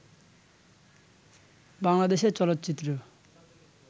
বাংলাদেশে চলচ্চিত্র